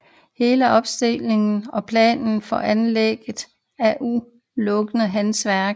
Hele opstillingen og planen for anlægget er udelukkende hans værk